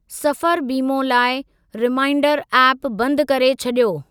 सफ़रु बीमो लाइ रिमांइडरु ऐप बंदु करे छॾियो।